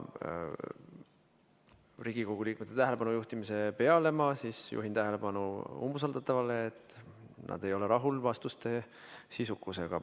Riigikogu liikmete tähelepanu juhtimise peale ma juhin umbusaldatava tähelepanu asjaolule, et ei olda rahul vastuste sisukusega.